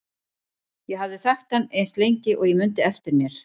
Ég hafði þekkt hann eins lengi og ég mundi eftir mér.